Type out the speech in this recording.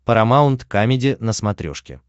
парамаунт камеди на смотрешке